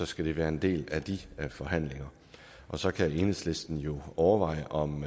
skal det være en del af de forhandlinger så kan enhedslisten jo overveje om